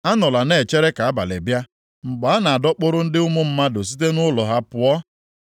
Anọla na-echere ka abalị bịa, mgbe a na-adọkpụrụ ndị ụmụ mmadụ site nʼụlọ ha pụọ.